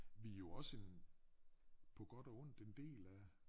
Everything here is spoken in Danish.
Vi jo også en på godt og ondt en del af